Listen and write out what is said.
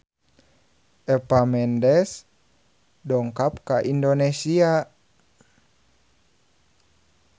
Eva Mendes dongkap ka Indonesia